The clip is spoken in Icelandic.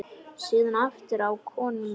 Síðan aftur á konuna.